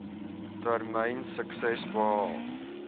termyn sukses behaal